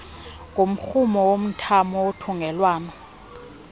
ngumrhumo womthamo wothungelwano